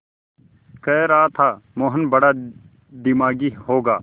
कह रहा था मोहन बड़ा दिमागी होगा